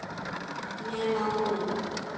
Nema hún.